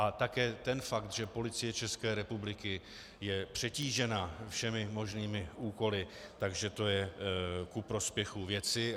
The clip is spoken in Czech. A také ten fakt, že Policie České republiky je přetížena všemi možnými úkoly, takže to je ku prospěchu věci.